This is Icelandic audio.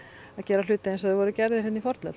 að gera hluti eins og þeir voru gerðir hérna í fornöld